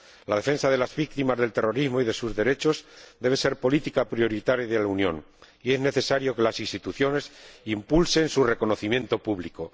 La defensa de las víctimas del terrorismo y de sus derechos debe ser una política prioritaria de la Unión, y es necesario que las instituciones impulsen su reconocimiento público.